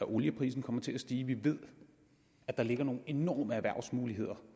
at olieprisen kommer til at stige og vi ved at der ligger nogle enorme erhvervsmuligheder